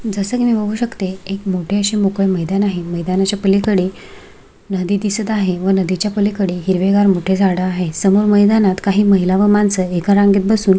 जसं की मी बघू शकते एक मोठे असे मोकळे मैदान आहे मैदानाच्या पलीकडे नदी दिसत आहे व नदीच्या पलीकडे हिरवे गार मोठे झाड आहे समोर मैदानात काही महिला व माणस एका रांगेत बसून--